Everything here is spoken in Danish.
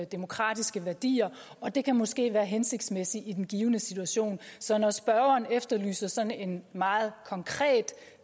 demokratiske værdier og det kan måske være hensigtsmæssigt i den givne situation så når spørgeren efterlyser sådan en meget konkret